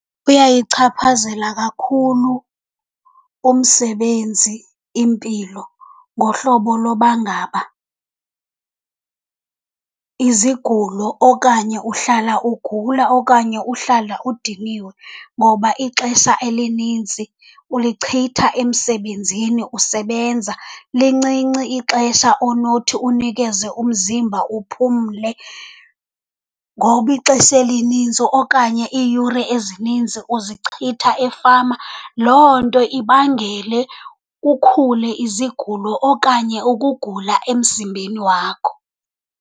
Kuyayichaphazela kakhulu umsebenzi impilo ngohlobo loba ngaba izigulo okanye uhlala ugula okanye uhlala udiniwe ngoba ixesha elinintsi ulichitha emsebenzini usebenza. Lincinci ixesha onothi unikeze umzimba uphumle ngoba ixesha elininzi okanye iiyure ezininzi uzichitha efama. Loo nto ibangele kukhule izigulo okanye ukugula emzimbeni wakho.